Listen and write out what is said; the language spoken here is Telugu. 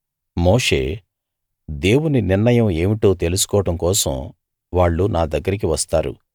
మోషే దేవుని నిర్ణయం ఏమిటో తెలుసుకోవడం కోసం వాళ్ళు నా దగ్గరికి వస్తారు